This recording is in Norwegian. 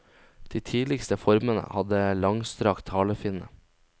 De tidligste formene hadde langstrakt halefinne.